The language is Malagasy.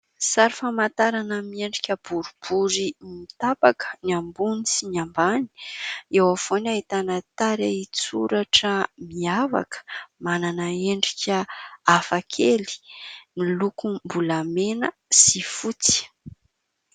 Sary famantarana miendrika boribory mitapaka ny ambony sy ny ambany eo avovoany ahitana tarehin-hitsoratra mihavaka manana endrika hafakely milokom-bolamena sy fotsy.